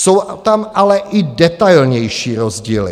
Jsou tam ale i detailnější rozdíly.